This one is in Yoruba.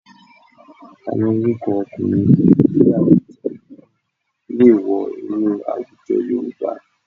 Àwọn orúkọ ọkùnrin ní àwùjọ mìíràn lè wọ inú àwùjọ Yorùbá